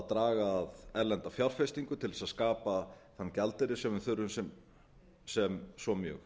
draga að erlenda fjárfestingu til að skapa þann gjaldeyri sem við þurfum svo mjög